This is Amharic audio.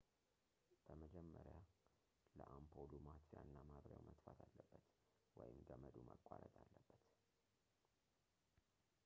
በመጀመሪያ ለአምፖሉ ማጥፊያ እና ማብሪያው መጥፋት አለበት ወይም ገመዱ መቋረጥ አለበት